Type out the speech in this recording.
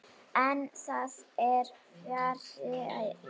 En það er fjarri lagi.